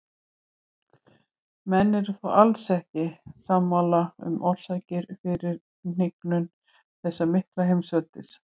Menn eru þó alls ekki sammála um orsakirnar fyrir hnignun þessa mikla heimsveldis.